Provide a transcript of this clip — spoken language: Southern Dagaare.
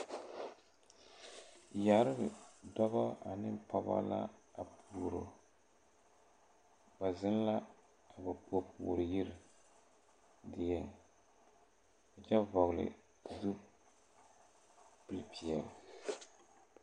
Yɛre dɔbɔ ane pɔgebɔ la a puoroba ziŋ la a ba puorpuoryiri dieŋ a kyɛ vɔgle zupil peɛle.